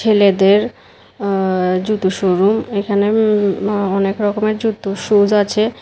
ছেলেদের আ জুতো শোরুম এখানে অনেক রকমের জুতো সুস আছে।